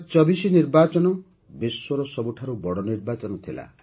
୨୦୨୪ ନିର୍ବାଚନ ବିଶ୍ୱର ସବୁଠାରୁ ବଡ଼ ନିର୍ବାଚନ ଥିଲା